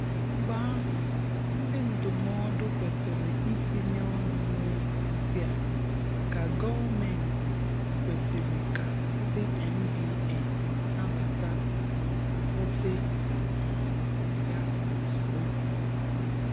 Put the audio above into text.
Mgbe ahụ, ndị ndụmọdụ kwésị́rị́ itinye ọnụ n'okwu ndị a maka gọọmentị kwèsị̀rị̀ ka ndị NBA nabata ma kwụsị um ya ozigbo.